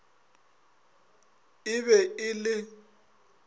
ii e be e le